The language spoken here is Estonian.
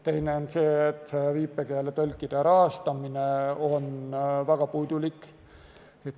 Teine on see, et viipekeeletõlkide rahastamine on väga puudulik.